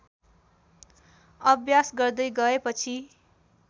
अभ्यास गर्दै गएपछि